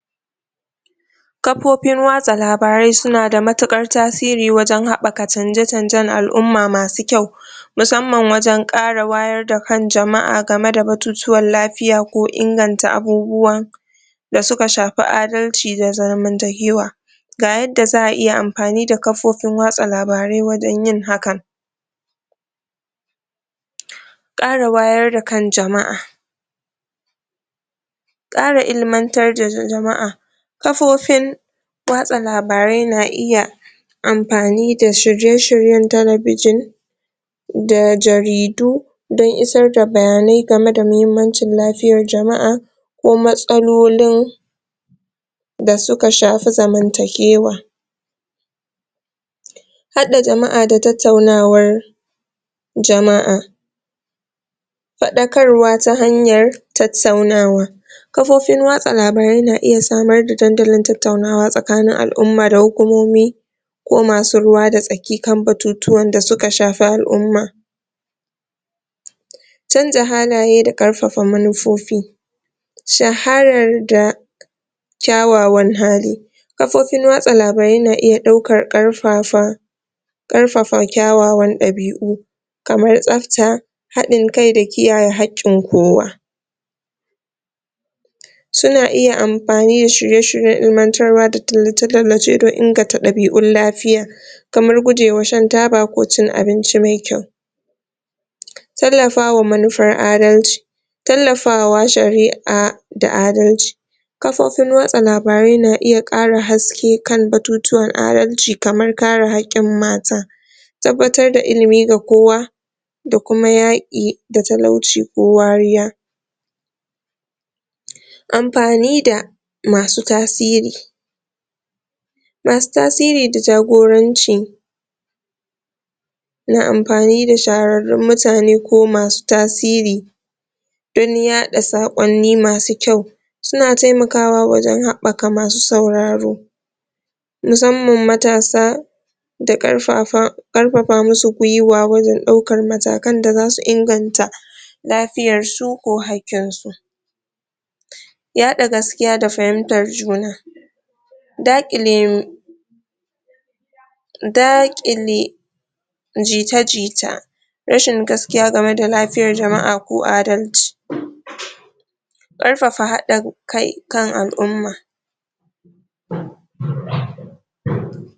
kafofin wasa rabarai suna da matukar tasiri wajen habbaka canje-canjen al'umma masu kyau musamman wajen kara wayar da kan jamaa game da batutuwan lafia ko inganta abubuwa da suka shafi adallci da zamantakewa ga yadda za a iya anfani da kafafon yada labarai wajen yin hakan kara wayar da kan jama'a kara ilmantar da jama'a kafofin wasa labarai na iya anfani da tashoshin talebijin da jaridu dan isar da bayanan game da mahimmancin lafiyan jamaa ko matsalolin da suka shafi zaman takewa hada jamaa da tattaunawar jama'a fadakarwa ta hanyan tattaunawa kafafon watsa labarai na iya samar da dandalin tattauna tsakanin alumma da hukumomi ko masu ruwa da tsaki kan batutuwa da suka shafi al'umma canja halaye da karfafa manifofi shaharar da kwawawan hali kafofin watsa labarai na iya daukan kafafan karfafa kyawawan dabiu kaman tsafta hadin kai da kiyeye hakkin kowa suna iya anfani da shrye shiryen, ilmantarwa da tallace tallace dan inkanta dabiun lafia kaman gujewa shan taba ko cin abinci mai kyau tallafawa manufar adalci tallafawa sharia da adalci kafofin watsa labarai na iya, kara haske kan batutuwan adalci, kaman kare, hakkin mata tabbatar da ilimi ga kowa da kuma yaki da talauci ko wariya anfani da masu tasiri masu tasiri da jagoranci na anfani da shararrun mutane ko masu tasiri don yada sakonni masu kyau suna taimakawa wajen habbaka masu sauraro musamman matasa da karfafa da karfafa mu su gulwa wajen, daukan matakan da zasu inganta lafiayan su ko hakkin su yada gaskiya da fahimtan juna da kile da kile ji-ta ji-ta rashin gaskiya game da lafian jamaa ko adalci karfafa hadin kan alumma